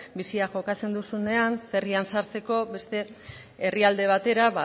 bizia jokatzen duzunean ferrian sartzeko beste herrialde batera